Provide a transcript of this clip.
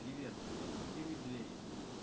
привет заблокируй двери